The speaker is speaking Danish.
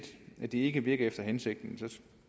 at det ikke virker efter hensigten